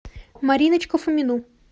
мариночку фомину